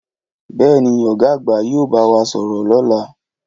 Bèéní, Ọ̀gá àgbà yí o bá wá sọ̀rọ̀ lọ́la